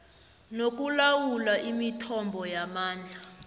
nokulawula imithombo yamandla